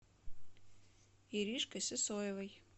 иришкой сысоевой